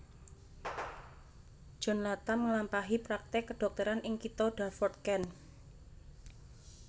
John Latham nglampahi praktèk kadhokteran ing kitha Dartford Kent